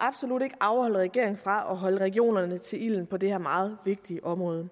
absolut ikke afholde regeringen fra at holde regionerne til ilden på det her meget vigtige område